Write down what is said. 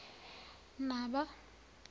naba